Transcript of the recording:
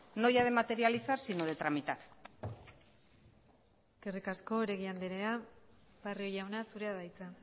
no ya de materializar sino de tramitar eskerrik asko oregi andrea barrio jauna zurea da hitza